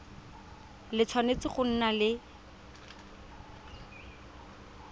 le tshwanetse go nna le